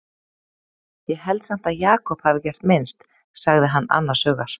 Ég held samt að Jakob hafi gert minnst, sagði hann annars hugar.